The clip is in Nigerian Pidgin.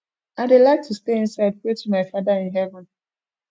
i dey like to stay inside pray to my father in heaven